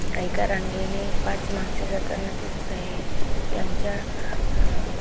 एका रांगेने पाच माणसे जाताना दिसत आहे त्यांच्या अ--